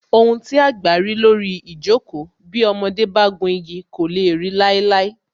Ohun tí àgbà rí lórí ijoko, bí ọmọdé bá gùn igi kò lè ri láíláí